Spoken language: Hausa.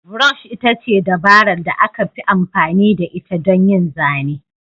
Brush ita ce dabarar da aka fi amfani da ita don yin zane.